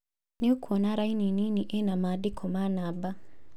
Nĩũkwona raini nini ĩna maandiko ma namba